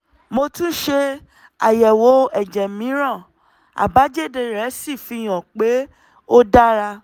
mo tún ṣe àyẹ̀wò ẹ̀jẹ̀ mìíràn àbájáde rẹ̀ sì fi hàn pé ó dára